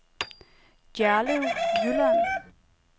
Gjerlev Jylland